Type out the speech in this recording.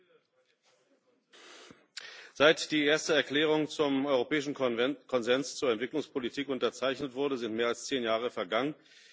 Herr Präsident! Seit die erste Erklärung zum Europäischen Konsens zur Entwicklungspolitik unterzeichnet wurde, sind mehr als zehn Jahre vergangen.